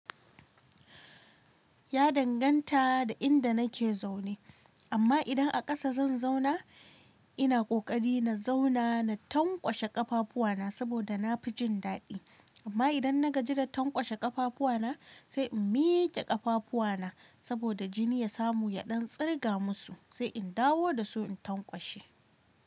Ya danganta da inda nake zaune, amma idan a ƙasa zan zauna ina ƙoƙari na zauna na tankwashe ƙafafuwana saboda na fi jin daɗi. Amma idan na gaji da tankwashe ƙafafuwana sai in miƙe ƙafafuwana saboda jini ya samu yaɗan tsirga musu sai in dawo da su in tankwashe.